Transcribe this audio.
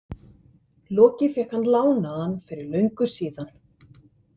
Loki fékk hann lánaðan fyrir löngu síðan.